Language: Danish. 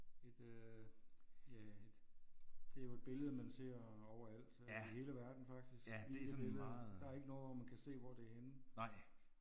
Et øh ja et det er jo et billede man ser overalt øh i hele verden faktisk det her billede. Der er ikke noget hvor man kan se hvor det er henne